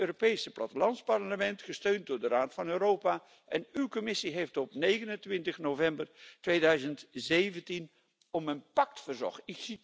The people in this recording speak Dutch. Het Europees Plattelandsparlement, gesteund door de Raad van Europa en uw Commissie, heeft op 29 november 2017 om een pact verzocht.